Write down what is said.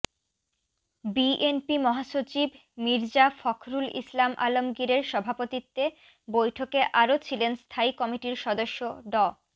BNP মহাসচিব মির্জা ফখরুল ইসলাম আলমগীরের সভাপতিত্বে বৈঠকে আরও ছিলেন স্থায়ী কমিটির সদস্য ড